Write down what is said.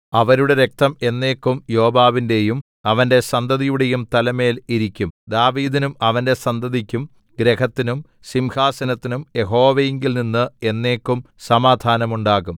അവരുടെ രക്തം എന്നേക്കും യോവാബിന്റെയും അവന്റെ സന്തതിയുടെയും തലമേൽ ഇരിക്കും ദാവീദിനും അവന്റെ സന്തതിക്കും ഗൃഹത്തിനും സിംഹാസനത്തിനും യഹോവയിങ്കൽനിന്ന് എന്നേക്കും സമാധാനം ഉണ്ടാകും